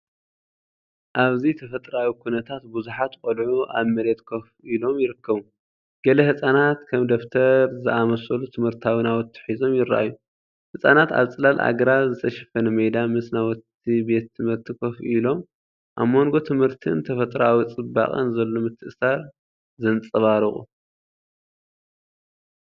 ኣብዚ ተፈጥሮኣዊ ኵነታት ብዙሓት ቈልዑ ኣብ መሬት ኮፍ ኢሎም ይርከቡ። ገለ ህጻናት ከም ደፍተር ዝኣመሰሉ ትምህርታዊ ናውቲ ሒዞም ይረኣዩ። ህጻናት ኣብ ጽላል ኣግራብ ዝተሸፈነ ሜዳ ምስ ናውቲ ቤት ትምህርቲ ኮፍ ኢሎም፡ኣብ መንጎ ትምህርትንተፈጥሮኣዊ ጽባቐን ዘሎ ምትእስሳር ዘንጸባርቑ።